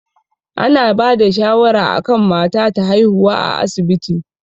Ana bada shawara akan mata ta haihuwa a asibiti